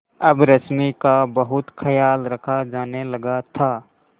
अब रश्मि का बहुत ख्याल रखा जाने लगा था